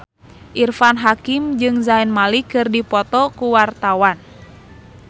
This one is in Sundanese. Irfan Hakim jeung Zayn Malik keur dipoto ku wartawan